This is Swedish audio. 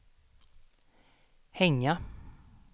hänga